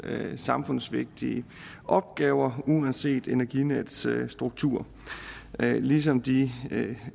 samfundsvigtige opgaver uanset energinets struktur ligesom de